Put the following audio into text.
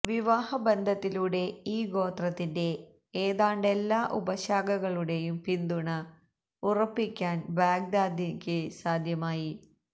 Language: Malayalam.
വിവാഹ ബന്ധത്തിലൂടെ ഈ ഗോത്രത്തിന്റെ ഏതാണ്ടെല്ലാ ഉപശാഖകളുടെയും പിന്തുണ ഉറപ്പിക്കാന് ബഗ്ദാദിക്ക് സാധ്യമായി